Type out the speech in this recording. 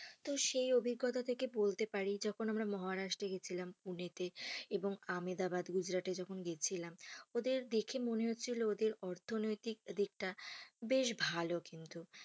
তো সেই অভিঙ্গতা থেকে বলতে পারি যখন আমরা মহারাষ্ট্রে গিয়েছিলাম পুনেতে এবং আমদাবাদ, গুজরাটে যখন গেছিলাম ওদের দেখে মনে হচ্ছিল ওদের অর্থনৈতিক দিকটা বেশ ভালো কিন্তু,